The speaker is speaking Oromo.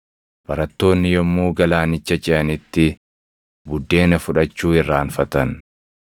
Barattoonni yommuu galaanicha ceʼanitti buddeena fudhachuu irraanfatan.